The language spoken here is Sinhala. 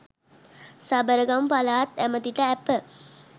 සබරගමු පළාත් ඇමැතිට ඇප